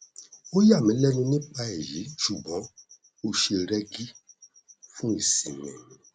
ó yà mí lẹnu nípa èyí ṣùgbọn ó ṣe rẹgí fún ìsinmi